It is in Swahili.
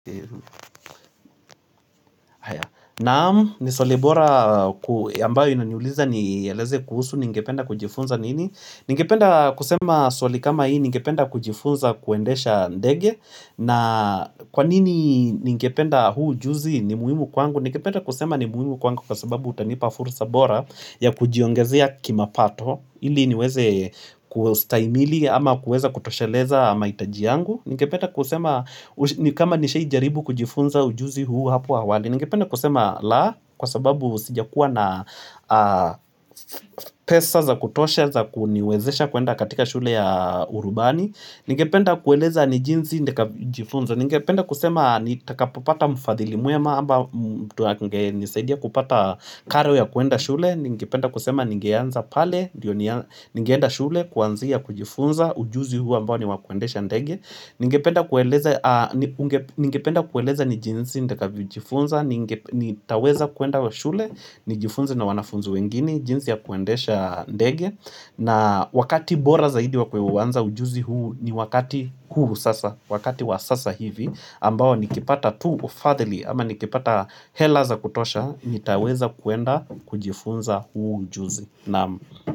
Naam ni swali bora ambayo inaniuliza nieleze kuhusu nngependa kujifunza nini Ningependa kusema swali kama hii ningependa kujifunza kuendesha ndege na kwa nini ningependa huu ujuzi ni muhimu kwangu Ningependa kusema ni muhimu kwangu kwa sababu utanipa fursa bora ya kujiongezea kimapato ili niweze kustahimili ama kuweza kutosheleza ama mahitaji yangu ningependa kusema kama nishaijaribu kujifunza ujuzi huu hapo awali ningependa kusema la kwa sababu sijakuwa na pesa za kutosha za kuniwezesha kuenda katika shule ya urubani ningependa kueleza ni jinsi nitakavyo jifunza ningependa kusema nitakapopata mfadhili mwema ama mtu angenisaidia kupata karo ya kuenda shule ningependa kusema ningeanza pale ningeenda shule kuanzia kujifunza ujuzi huu ambao ni wa kuendesha ndege Ningependa kueleza ni jinsi ntakavyojifunza, nitaweza kuenda wa shule, nijifunze na wanafunzi wengine, jinsi ya kuendesha ndege na wakati bora zaidi wa kuanza ujuzi huu ni wakati huu sasa, wakati wa sasa hivi ambao nikipata tu wafadhili, ama nikipata hela za kutosha, nitaweza kuenda kujifunza huu ujuzi.